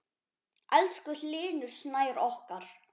Elsku Hlynur Snær okkar.